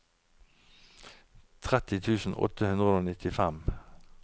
tretti tusen åtte hundre og nittifem